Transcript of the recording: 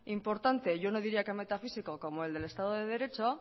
importante yo no diría que metafísico como el del estado de derecho